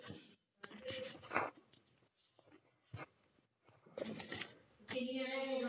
ਕੀ ਕਹਿ ਰਹੇ ਹੋ